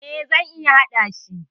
E, zan iya hadashi.